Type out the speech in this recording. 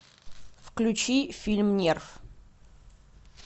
включи фильм нерв